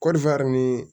Kɔɔri ni